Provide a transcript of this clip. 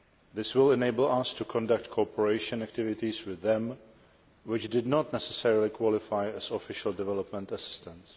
This will enable us to conduct cooperation activities with them which did not necessarily qualify as Official Development Assistance.